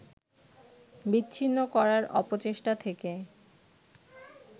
বিচ্ছিন্ন করার অপচেষ্টা থেকে